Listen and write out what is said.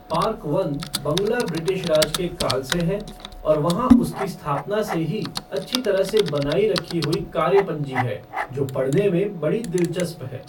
Park वन बंगला British राज के काल से है और वहाँ उसकी स्थापना से ही अच्छी तरह से बनाई रखी हुई कार्य पंजी है जो पढ़ने में बड़ी दिलचस्प है।